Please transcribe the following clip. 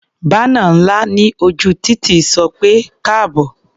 Bánà ńlá ní ojú títì sọ pé "káàbọ̀".